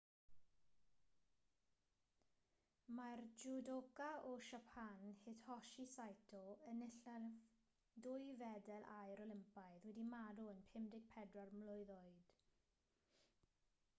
mae'r jwdoca o siapan hitoshi saito enillydd dwy fedal aur olympaidd wedi marw yn 54 mlwydd oed